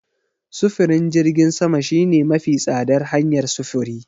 Sufurin jirgin sama shine mafi tsadar hanyar sufuri.